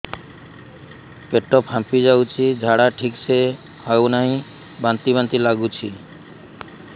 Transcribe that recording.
ପେଟ ଫାମ୍ପି ଯାଉଛି ଝାଡା ଠିକ ସେ ହଉନାହିଁ ବାନ୍ତି ବାନ୍ତି ଲଗୁଛି